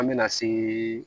An bɛna se